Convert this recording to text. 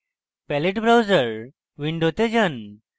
palette browser window যান